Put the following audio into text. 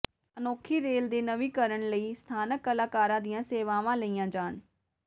ਅਨੋਖੀ ਰੇਲ ਦੇ ਨਵੀਨੀਕਰਨ ਲਈ ਸਥਾਨਕ ਕਲਾਕਾਰਾਂ ਦੀਆਂ ਸੇਵਾਵਾਂ ਲਈਆਂ ਜਾਣ